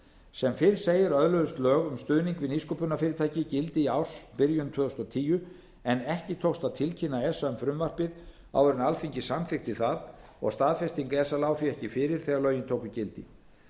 sem fyrr segir öðluðust lög um stuðning við nýsköpunarfyrirtæki gildi í ársbyrjun tvö þúsund og tíu en ekki tókst að tilkynna esa um frumvarpið áður en alþingi samþykkti það staðfesting esa lá því ekki fyrir þegar lögin tóku gildi